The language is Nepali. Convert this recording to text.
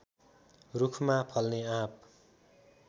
रूखमा फल्ने आँप